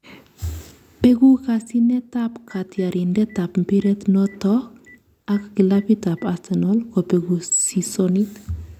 Beku kasyinet ab katyarindet ab mpiret noton ak kilapit ab Arsenal kopeku sisonit